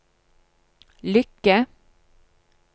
lykke